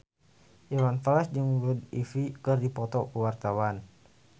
Iwan Fals jeung Blue Ivy keur dipoto ku wartawan